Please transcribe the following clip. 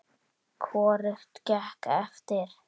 Hvorugt gekk eftir.